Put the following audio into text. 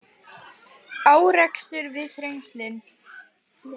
Árekstur við Þrengslin